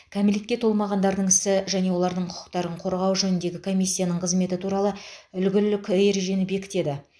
кәмелетке толмағандардың ісі және олардың құқықтарын қорғау жөніндегі комиссияның қызметі туралы үлгілік ережені бекітеді